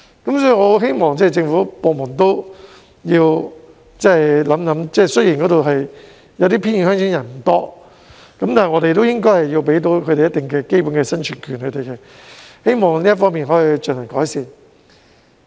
所以，我很希望政府部門考慮一下，雖然一些偏遠鄉村的人口不多，但我們都應該為他們提供一定的基本生存權，我希望這方面可以有所改善。